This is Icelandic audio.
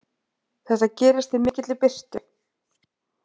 Þetta gerist í mikilli birtu.